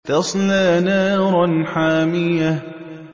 تَصْلَىٰ نَارًا حَامِيَةً